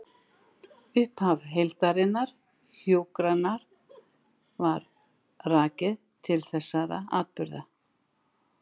Upphaf heildrænnar hjúkrunar er rakið til þessara atburða.